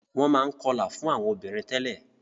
Wọ́n máa ń kọlà fún àwọn obìnrin tẹ́lẹ̀.